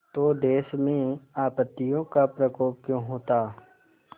तो देश में आपत्तियों का प्रकोप क्यों होता